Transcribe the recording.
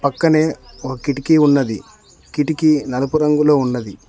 పక్కనే ఒక కిటికీ ఉన్నది కిటికీ నలుపు రంగులో ఉన్నది.